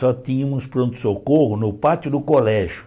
Só tínhamos pronto-socorro no pátio do colégio.